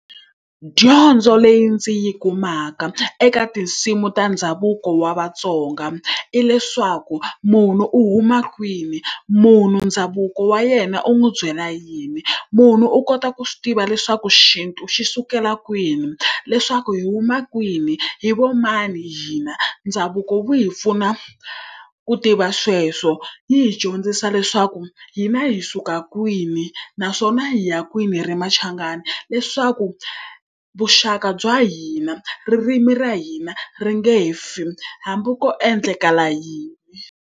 Dyondzo leyi ndzi yi kumaka eka tinsimu ta ndhavuko wa Vatsonga hileswaku, munhu u huma kwini, munhu ndhavuko wa yena u n'wi byela yini, munhu u kota ku tiva leswaku xintu xi sukela kwini, leswaku hi huma kwini, hi va mani hina, ndhavuko wu hi pfuna ku tiva sweswo. Wu hi dyondzisa leswaku hina hi suka kwini naswona hi ya kwini ri machangani, leswaku vuxaka bya hina, ririmi ra hina, ri nge he fi hambi ko endleka yini.